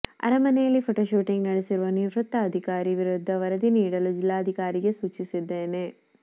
ಅರಮನೆಯಲ್ಲಿ photo shooting ನಡೆಸಿರುವ ನಿವೃತ್ತ ಅಧಿಕಾರಿ ವಿರುದ್ಧ ವರದಿ ನೀಡಲು ಜಿಲ್ಲಾಧಿಕಾರಿಗಳಿಗೆ ಸೂಚಿಸಿದ್ದೆನೆ